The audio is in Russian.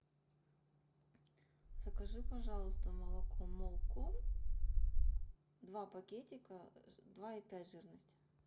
закажи пожалуйста молоко молком два пакетика два и пять жирность